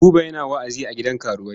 Buba yana wa'azi a gidan karuwai.